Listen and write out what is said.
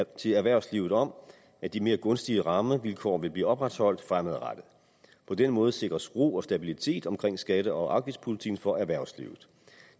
til erhvervslivet om at de mere gunstige rammevilkår vil blive opretholdt fremadrettet på den måde sikres ro og stabilitet omkring skatte og afgiftspolitikken for erhvervslivet